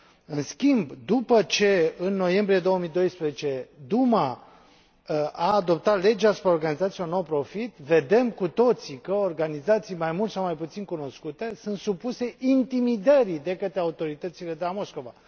În schimb, după ce, în noiembrie 2012, Duma adoptat legea asupra organizațiilor non profit, vedem cu toții că organizații mai mult sau mai puțin cunoscute sunt supuse intimidării de către autoritățile de la Moscova.